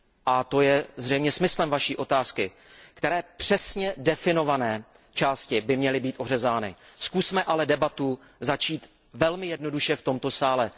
a to je zřejmě smyslem vaší otázky přesně definované části by měly být ořezány. Zkusme ale debatu začít velmi jednoduše v tomto sále.